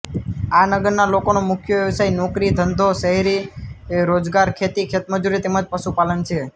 આ નગરના લોકોનો મુખ્ય વ્યવસાય નોકરી ધંધો શહેરી રોજગાર ખેતી ખેતમજૂરી તેમ જ પશુપાલન છે